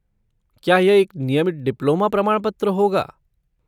क्या यह एक नियमित डिप्लोमा प्रमाणपत्र होगा?